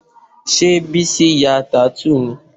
Ṣé Bísí ya tattoo ni?